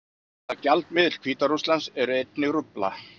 Þess má að lokum geta að gjaldmiðill Hvíta-Rússlands er einnig rúbla.